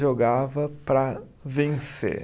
jogava para vencer.